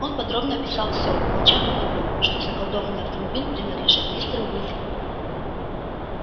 он подробно описал всё умолчав об одном что заколдованный автомобиль принадлежит мистеру уизли